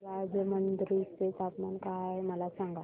आज राजमुंद्री चे तापमान काय आहे मला सांगा